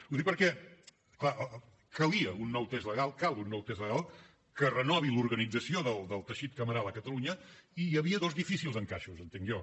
ho dic perquè clar calia un nou text legal cal un nou text legal que renovi l’organització del teixit cameral a catalunya i hi havia dos difícils encaixos entenc jo